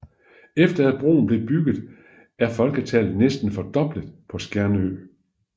Efter at broen blev bygget er folketallet næsten fordoblet på Skjernøy